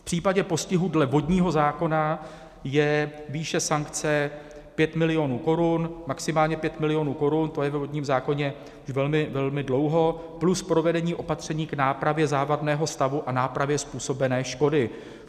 V případě postihu dle vodního zákona je výše sankce 5 milionů korun, maximálně 5 milionů korun, to je ve vodním zákoně už velmi, velmi dlouho, plus provedení opatření k nápravě závadného stavu a nápravě způsobené škody.